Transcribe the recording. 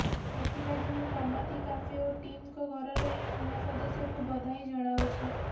ଏଥିଲାଗି ମୁଁ ଟମାତୀ କାଫେ ଓ ଟିମଙ୍କ ଘରର ଏହି ନୂଆ ସଦସ୍ୟଙ୍କୁ ବଧାଇ ଜଣାଉଛି